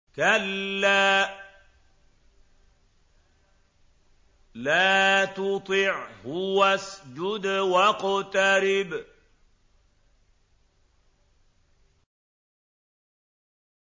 كَلَّا لَا تُطِعْهُ وَاسْجُدْ وَاقْتَرِب ۩